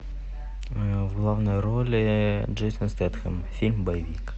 в главной роли джейсон стэтхэм фильм боевик